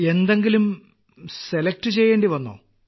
എന്തെങ്കിലും സെലക്ട് ചെയ്യേണ്ടിവന്നോ